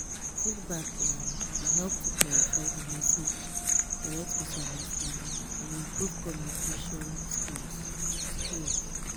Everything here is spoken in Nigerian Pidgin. feedback um dey help to clarify di message correct misunderstanding and improve communication um skills. skills.